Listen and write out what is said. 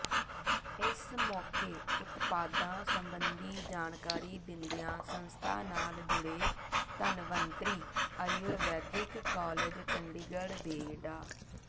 ਇਸ ਮੌਕੇ ਉਤਪਾਦਾਂ ਸਬੰਧੀ ਜਾਣਕਾਰੀ ਦਿੰਦਿਆਂ ਸੰਸਥਾ ਨਾਲ ਜੁੜੇ ਧਨਵੰਤਰੀ ਅਯੁਰਵੈਦਿਕ ਕਾਲਜ਼ ਚੰਡੀਗੜ੍ਹ ਦੇ ਡਾ